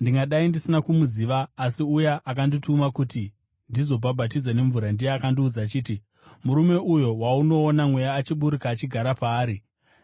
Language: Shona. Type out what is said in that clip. Ndingadai ndisina kumuziva, asi uya akandituma kuti ndizobhabhatidza nemvura ndiye akandiudza achiti, ‘Murume uyo waunoona Mweya achiburuka achigara paari,